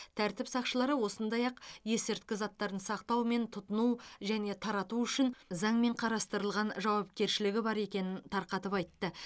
тәртіп сақшылары сондай ақ есірткі заттарын сақтау мен тұтыну және тарату үшін заңмен қарастырылған жауапкершілік бар екенін тарқатып айтты